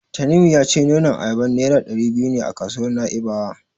Tanimu ya ce nonon ayaba Naira ɗari biyu ne a kasuwar Na'ibawa.